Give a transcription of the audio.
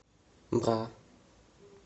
бра